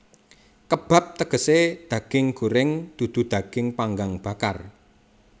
Kebab tegesé daging goreng dudu daging panggang bakar